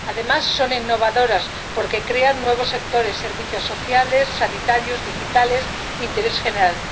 Además, son innovadoras, porque crean nuevos sectores servicios sociales, sanitarios, digitales, interés general.